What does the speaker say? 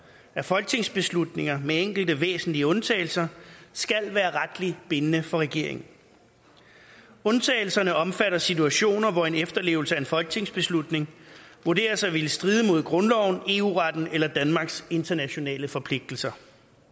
at folketingsbeslutninger med enkelte væsentlige undtagelser skal være retligt bindende for regeringen undtagelserne omfatter situationer hvor en efterlevelse af en folketingsbeslutning vurderes at ville stride mod grundloven eu retten eller danmarks internationale forpligtelser